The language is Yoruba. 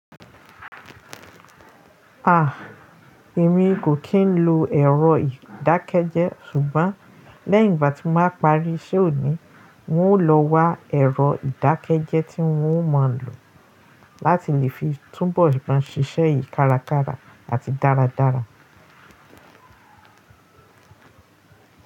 Ah! Èmi kò kì n lo ẹ̀rọ ìdákẹ́jẹ́ ṣùgbọ́n lẹ́yìn ìgbà tí mo máa parí iṣẹ́ òní, n ó lọ wa ẹ̀rọ ìdákẹ́jẹ́ tí ń ó máa ń lò láti lè fi túnbọ̀ maa ṣíṣe yìí kárakára àti dáradára.